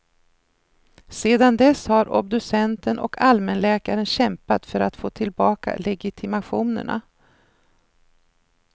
Sedan dess har obducenten och allmänläkaren kämpat för att få tillbaka legitimationerna.